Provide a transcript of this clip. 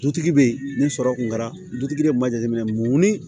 Dutigi bɛ yen ni sɔrɔ kun kɛra dutigi de kun m'a jateminɛ mun ni